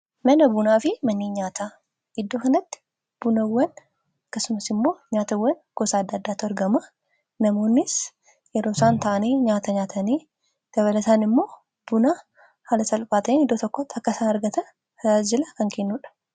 Mana bunaa fi mannii nyaata iddoo kanatti bunawwan akkasumas immoo nyaatawwan gosa adda addaatu argama namoonnis yeroosaan ta'anii nyaata nyaatanii dabalataan immoo buna haala salphaatiin iddoo tokkotti kkasaan argatan tajaajila kan kennuudha.